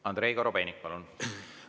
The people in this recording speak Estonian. Andrei Korobeinik, palun!